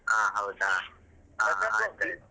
ಹ ಹೌದ .